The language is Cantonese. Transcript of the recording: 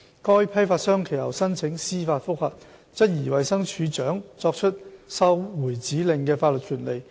該批發商其後申請司法覆核，質疑衞生署署長作出收回指令的法律權力。